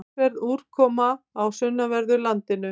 Talsverð úrkoma á sunnanverðu landinu